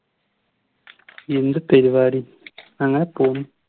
എന്ത് പരിവാടി അങ്ങനെ പോന്ന്